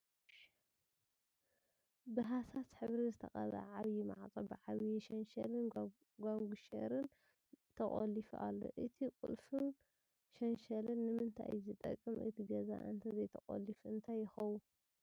ብሀሳስ ሕብሪ ዝተቀብኣ ዓብዪ ማዕፆ ብዓብዪ ሸንሸልን ጓጉንሸርን ተቆሊፉ ኣሎ፡፡ እቲ ቁልፍን ሸንሸልን ንምንታይ እዩ ዝጠቅም እቲ ገዛ እንተዘይቁለፍ እንታይ ይኸውን?